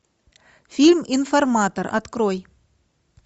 фильм информатор открой